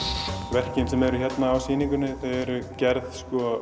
verkin sem eru hérna á sýningunni eru gerð